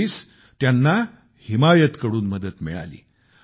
अखेरीस त्यांना हिमायतकडून मदत मिळाली